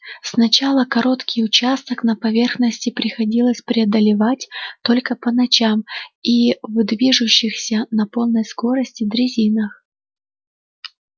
сначала короткий участок на поверхности приходилось преодолевать только по ночам и в движущихся на полной скорости дрезинах